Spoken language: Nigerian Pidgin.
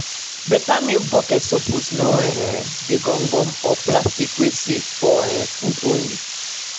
better milk bucket suppose no um de gum gum or plastic wey safe for um food only